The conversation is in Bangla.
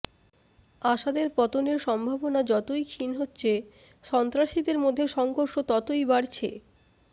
আসাদের পতনের সম্ভাবনা যতই ক্ষীণ হচ্ছে সন্ত্রাসীদের মধ্যে সংঘর্ষ ততই বাড়ছে